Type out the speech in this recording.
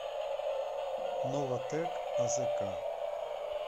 новатэк азк